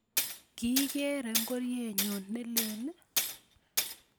Kikeere ngorienyun ne leel